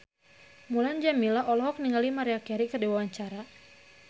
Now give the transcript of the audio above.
Mulan Jameela olohok ningali Maria Carey keur diwawancara